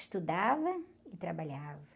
Estudava e trabalhava.